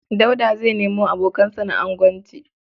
Dauda zai nemo abokansa na agonci.